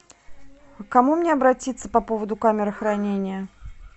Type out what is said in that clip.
к кому мне обратиться по поводу камеры хранения